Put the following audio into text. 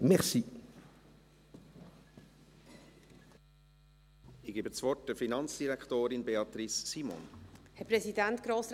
Ich erteile der Finanzdirektorin, Beatrice Simon, das Wort.